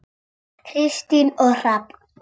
Kristín og Hrafn.